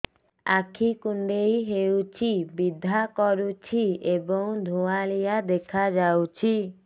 ଆଖି କୁଂଡେଇ ହେଉଛି ବିଂଧା କରୁଛି ଏବଂ ଧୁଁଆଳିଆ ଦେଖାଯାଉଛି